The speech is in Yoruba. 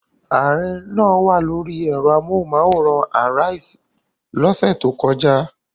Ààrẹ náà wà lórí ẹ̀rọ amóhùmáwòhán Arise lọ́sẹ̀ tó kọjá.